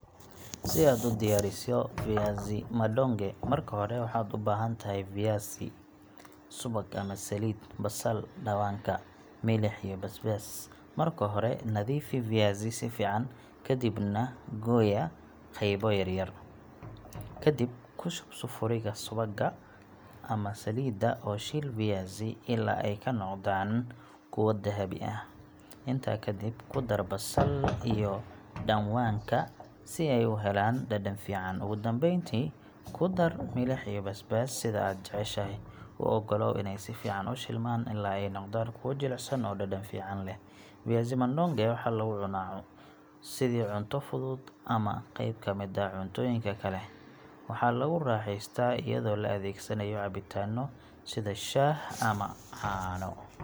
Si aad u diyaariso viazi madonge, marka hore waxaad u baahan tahay viazi , subag ama saliid, basal, dhanwaanka , milix, iyo basbaas. Marka hore, nadiifi viazi si fiican, ka dibna gooya qaybo yaryar. Kadib, ku shub sufuriga subagga ama saliidda oo shiil viazi ilaa ay ka noqdaan kuwo dahabi ah. Intaa ka dib, ku dar basal iyo dhanwaanka si ay u helaan dhadhan fiican. Ugu dambeyntii, ku dar milix iyo basbaas sida aad jeceshahay. U ogolow inay si fiican u shiilmaan ilaa ay noqdaan kuwo jilicsan oo dhadhan fiican leh. Viazi madonge waxaa lagu cunaa sidii cunto fudud ama qeyb ka mid ah cuntooyinka kale, waxaana lagu raaxeystaa iyadoo la adeegsanayo cabitaanno sida shaah ama caano.